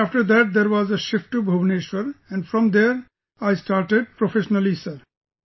Then after that there was a shift to Bhubaneswar and from there I started professionally sir